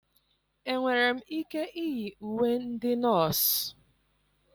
enwere m ike iyi uwe ndị nọọsụ?